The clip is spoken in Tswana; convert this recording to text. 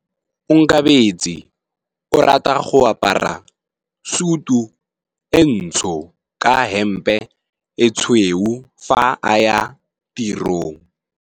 Onkabetse o rata go apara sutu e ntsho ka hempe e tshweu fa a ya tirong.